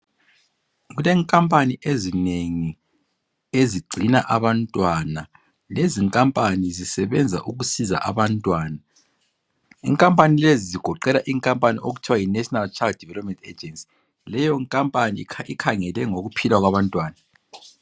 Kulenkampani ezinengi ezingcina abantwana lezinkampani zisebenza ukusiza abantwana. Ikampani lezi zigoqela inkampani okuthiwa yi National Child Development Agency. Leyo nkampani ikhangelelwe ngokuphila kwabantwana.